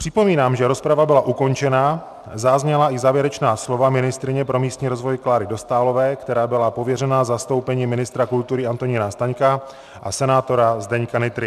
Připomínám, že rozprava byla ukončena, zazněla i závěrečná slova ministryně pro místní rozvoj Kláry Dostálové, která byla pověřena zastoupením ministra kultury Antonína Staňka, a senátora Zdeňka Nytry.